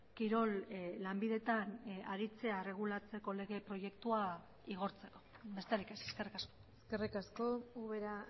kirol lanbideetan aritzea erregulatzeko lege proiektua igortzeko besterik ez eskerrik asko eskerrik asko ubera